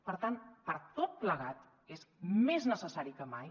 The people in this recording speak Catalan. per tant per tot plegat és més necessari que mai